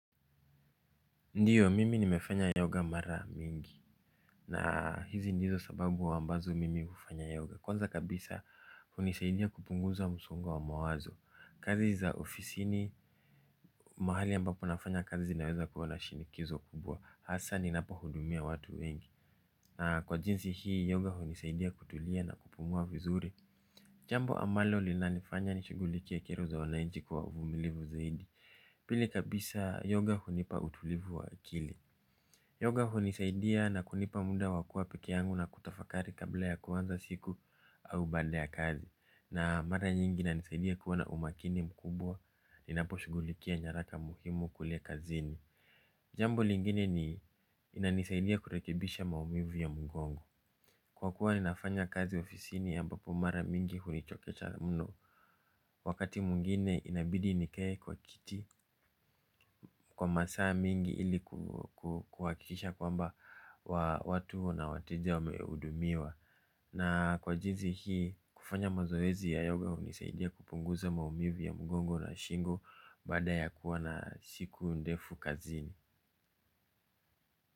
Ndiyo mimi nimefanya yoga mara mingi. Na hizi ndizo sababu ambazo mimi hufanya yoga. Kwanza kabisa hunisaidia kupunguza msongo wa mawazo. Kazi za ofisini mahali ambapo nafanya kazi zinaweza kuwa na shinikizo kubwa hasa ninapohudumia watu wengi. Na kwa jinsi hii yoga hunisaidia kutulia na kupumua vizuri. Jambo ambalo linanifanya nishughulikie kero za wananchi kwa uvumilivu zaidi. Pili kabisa yoga hunipa utulivu wa akili. Yoga hunisaidia na kunipa muda wa kuwa pekee yangu na kutafakari kabla ya kuanza siku au baada ya kazi. Na mara nyingi inanisaidia kuwa na umakini mkubwa ninaposhughulikia nyaraka muhimu kule kazini. Jambo lingine ni inanisaidia kurekebisha maumivu ya mgongo. Kwa kuwa ninafanya kazi ofisini ambapo mara mingi hunichokesha mno. Wakati mwingine inabidi nikae kwa kiti kwa masaa mingi ili kuhakikisha kwamba watu na wateja wamehudumiwa. Na kwa jinsi hii kufanya mazoezi ya yoga hunisaidia kupunguza maumivu ya mgongo na shingo. Baada ya kuwa na siku ndefu kazini.